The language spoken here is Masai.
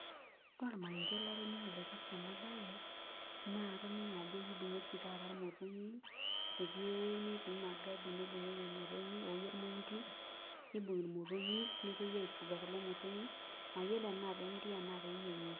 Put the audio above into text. Ore ormarenke latoningo oipirta enabae na atoningo ajo kibungi oshi taata irmotonyi ,etii ewueji natii magadi naibungieki irmotonyi oji ormointi, nibungi irmotonyi nepuoi ai fuga kulo motonyi mayiolo ana pemiri ashu peeyiengi.